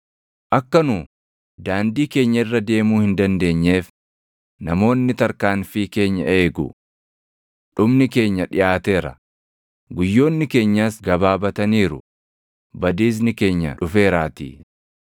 Akka nu daandii keenya irra deemuu hin dandeenyeef namoonni tarkaanfii keenya eegu. Dhumni keenya dhiʼaateera; // guyyoonni keenyas gabaabataniiru; badiisni keenya dhufeeraatii.